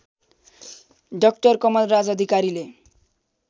doctor Kamalraj अधिकारीले